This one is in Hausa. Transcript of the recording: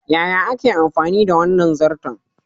Yaya ake amfani da wannan zarton?